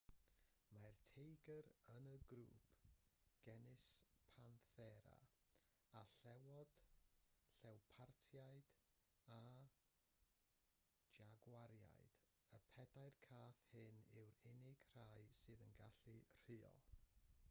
mae'r teigr yn yr un grŵp genus panthera â llewod llewpartiaid a jagwariaid. y pedair cath hyn yw'r unig rai sy'n gallu rhuo